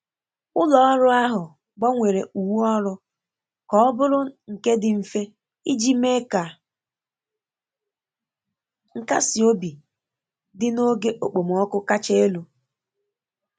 Ụlọ ọrụ ahụ gbanwere uwe ọrụ ka ọ bụrụ nke dị mfe iji mee ka nkasi obi dị na oge okpomọkụ kacha elu.